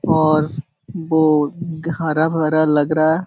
और बो हरा-भरा लग रहा है।